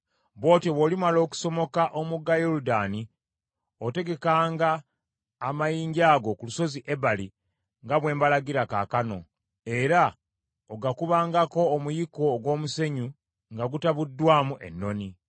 Bw’otyo, bw’olimala okusomoka omugga Yoludaani, otegekanga amayinja ago ku Lusozi Ebali nga bwe mbalagira kaakano, era ogakubangako omuyiko ogw’ennoni ng’etabuddwamu omusenyu.